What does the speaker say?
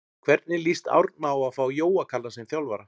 Hvernig lýst Árna á að fá Jóa Kalla sem þjálfara?